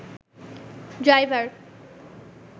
driver